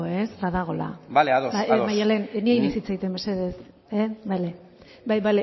badagoela bale ados ados bai maddalen ni hari naiz hitz egiten mesedez bale bai